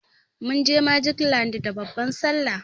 Munje magic land da babban sallah.